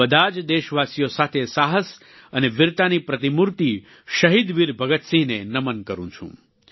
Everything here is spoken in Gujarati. હું બધા જ દેશવાસીઓ સાથે સાહસ અને વીરતાની પ્રતિમૂર્તિ શહીદ વીર ભગતસિંહને નમન કરું છું